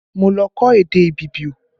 Mo lọ kọ́ èdè Ibibio